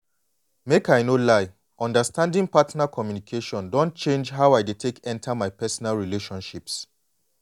make i no lie understanding partner communication don change how i dey take enter my personal relationships.